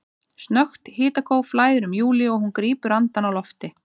Snöggt hitakóf flæðir um Júlíu og hún grípur andann á lofti.